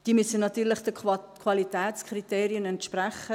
Sie müssen natürlich den Qualitätskriterien entsprechen.